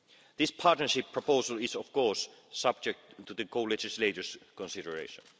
This partnership proposal is, of course, subject to the co legislators' consideration.